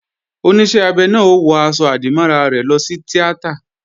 Oníṣẹ́ abẹ náà ó wọ aṣọ-àdìmọ́ra rẹ̀ lọ sí tíátà